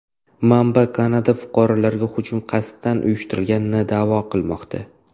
Manba Kanada fuqarolariga hujum qasddan uyushtirilganini da’vo qilmoqda.